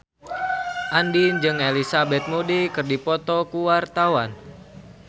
Andien jeung Elizabeth Moody keur dipoto ku wartawan